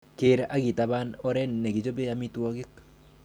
Keer ak itaban oret nekichoben amitwogik.